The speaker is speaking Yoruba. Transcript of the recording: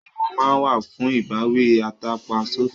Ẹ̀wọ̀n máa ń wà fún ìbáwí atàpa sófin